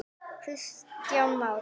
Kristján Már: Af hverju?